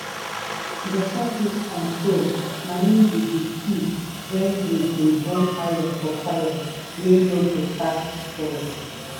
to make tools you need paint am make rust no spoil am and um you keep make make e no lost.